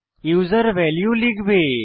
user value লিখবে